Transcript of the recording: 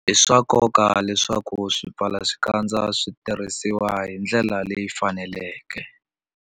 I swa nkoka leswaku swipfalaxikandza swi tirhisiwa hi ndlela leyi faneleke.